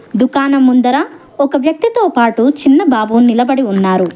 దుకాణం ముందర ఒక వ్యక్తితో పాటు చిన్న బాబు నిలబడి ఉన్నారు.